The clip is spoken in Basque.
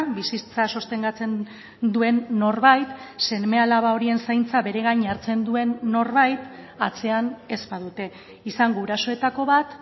bizitza sostengatzen duen norbait seme alaba horien zaintza bere gain hartzen duen norbait atzean ez badute izan gurasoetako bat